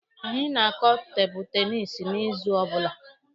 Anyị na-akụ tebụlụ tenisi n'izu ọbụla.